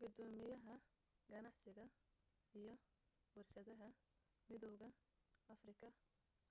gudoomiyaha ganacsiga iyo warshadaha midowga afrika